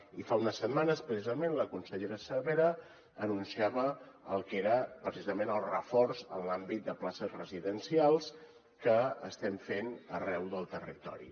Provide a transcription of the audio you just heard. i fa unes setmanes precisament la consellera cervera anunciava el que era precisament el reforç en l’àmbit de places residencials que estem fent arreu del territori